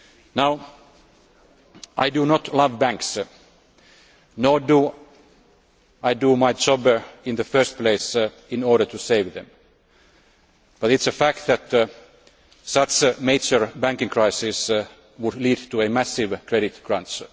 Now, I do not love banks, nor do I do my job in the first place in order to save them, but it is a fact that such a major banking crisis would lead to a massive credit crunch.